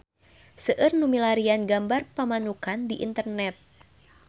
Seueur nu milarian gambar Pamanukan di internet